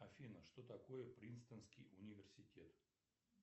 афина что такое принстонский университет